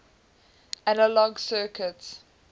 analog circuits